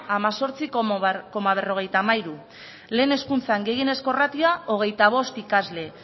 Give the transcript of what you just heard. hemezortzi koma berrogeita hamairu lehen hezkuntzan gehienezko ratioa hogeita bost ikasle